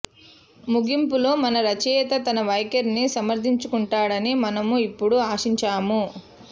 ముగింపులో మన రచయిత తన వైఖరిని సమర్థించుకుంటాడని మనము ఇప్పుడు ఆశించాము